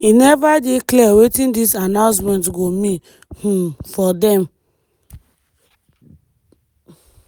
e neva dey clear wetin dis announcement go mean um for dem.